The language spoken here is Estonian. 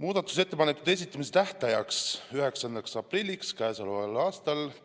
Muudatusettepanekute esitamise tähtajaks, 9. aprilliks kella